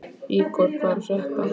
Ígor, hvað er að frétta?